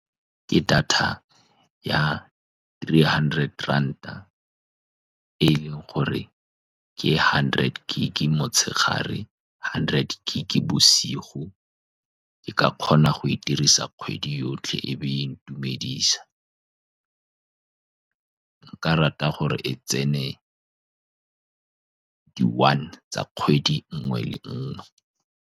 Ke data ya three hundred ranta, e e leng gore ke hundred gig motshegare, hundred gig bosigo. Ke ka kgona go e dirisa kgwedi yotlhe, e be e ntumedisa. Nka rata gore e tsene di-one tsa kgwedi e nngwe le e nngwe.